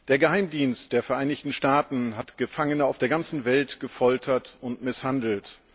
Der Geheimdienst der Vereinigten Staaten hat Gefangene auf der ganzen Welt gefoltert und misshandelt.